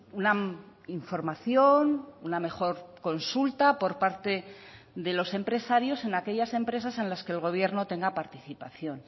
una información una mejor consulta por parte de los empresarios en aquellas empresas en las que el gobierno tenga participación